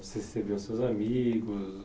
Você recebiam seus amigos?